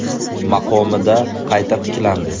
maqomida qayta tiklandi.